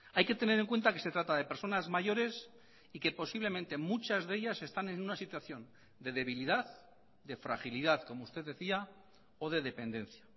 hay que tener en cuenta que se trata de personas mayores y que posiblemente muchas de ellas están en una situación de debilidad de fragilidad como usted decía o de dependencia